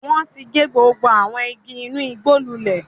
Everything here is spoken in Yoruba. Wọn ti gé gbogbo àwọn igi inú igbó lulẹ̀.